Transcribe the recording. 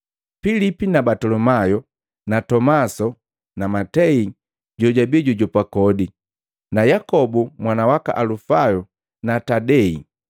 Pilipi na Batolomayu na Tomasi na Matei jojabii jojujopa kodi na Yakobu mwana waka Alufayo na Tadei,